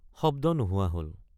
শব্দ নোহোৱা হল।